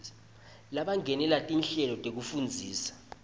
labangenela tinhlelo tekufundza